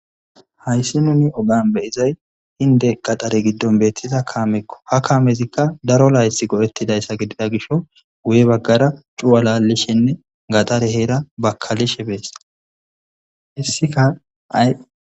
hayssi nuni ogan beyizay hinde qaxare giddon beettida kaamekko ha kaamezikka daro lays gohettidayssa gidida gisho guye baggara cuwa laallishenne gaxare heera bakalishe bees hissika ay